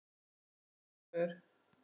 Fátt um svör.